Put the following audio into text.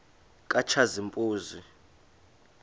katshazimpuzi